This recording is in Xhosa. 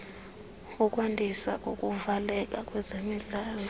ukwandiswa kokuvuleleka kwezemidlalo